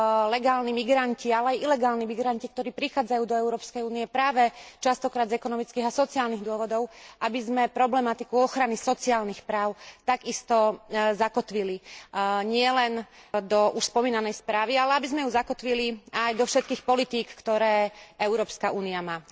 legálni migranti, ale aj ilegálni migranti, ktorí prichádzajú do Európskej únie práve častokrát z ekonomických a sociálnych dôvodov, aby sme problematiku ochrany sociálnych práv takisto zakotvili nielen do už spomínanej správy, ale aby sme ju zakotvili aj do všetkých politík, ktoré Európska únia má.